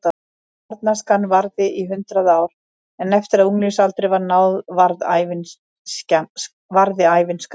Barnæskan varði í hundrað ár en eftir að unglingsaldri var náð varði ævin skammt.